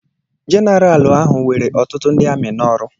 Jeneral ahụ were ọtụtụ ndị amị n'ọrụ.